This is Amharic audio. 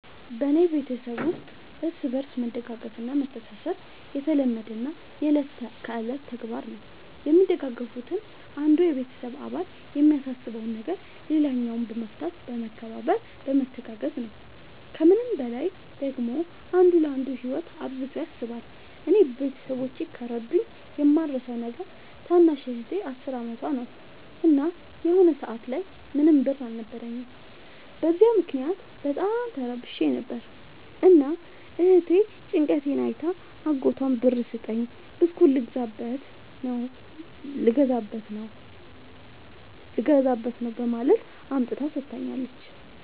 በኔ ቤተሠብ ውስጥ እርስ በርስ መደጋገፍ እና መተሣሠብ የተለመደና የእለት ከእለት ተግባር ነው። የሚደጋገፉትም አንዱ የቤተሰብ አባል የሚያሳስበውን ነገር ሌላኛው በመፍታት በመከባበር በመተጋገዝ ነው። ከምንም በላይ ደግሞ አንዱ ለአንዱ ህይወት አብዝቶ ያስባል። እኔ ቤተሠቦቼ ከረዱኝ የማረሣው ነገር ታናሽ እህቴ አስር አመቷ ነው። እና የሆነ ሰአት ላይ ምንም ብር አልነበረኝም። በዚያ ምክንያት በጣም ተረብሼ ነበር። እና እህቴ ጭንቀቴን አይታ አጎቷን ብር ስጠኝ ብስኩት ልገዛበት ነው በማለት አምጥታ ሠጥታኛለች።